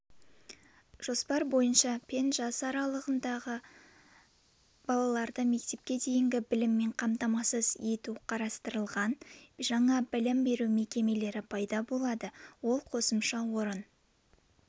жоспар бойынша пен жас аралығындағы балаларды мектепке дейінгі біліммен қамтамасыз ету қарастырылған жаңа білім беру мекемелері пайда болады ол қосымша орын